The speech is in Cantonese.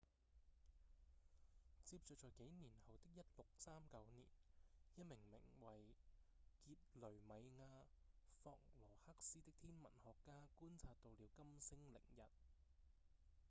接著在幾年後的1639年一名名為傑雷米亞·霍羅克斯的天文學家觀察到了金星凌日